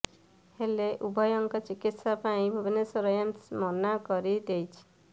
ହେଲେ ଉଭୟଙ୍କ ଚିକିତ୍ସା ପାଇଁ ଭୁବନେଶ୍ୱର ଏମ୍ସ ମନା କରି ଦେଇଛି